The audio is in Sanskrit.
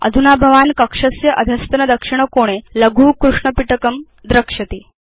अधुना भवान् कक्षस्य अधस्तन दक्षिण कोणे लघु कृष्ण पिटकं द्रक्ष्यति